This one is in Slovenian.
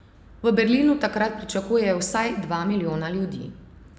V Berlinu takrat pričakujejo vsaj dva milijona ljudi.